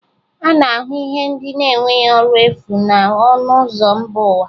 A na-ahụ ihe ndị na-enweghị ọrụ n'efu na ọnụ ụzọ mba ụwa